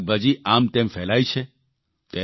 આ શાકભાજી આમતેમ ફેલાય છે